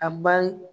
A bali